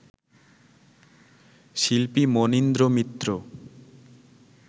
শিল্পী মনীন্দ্র মিত্র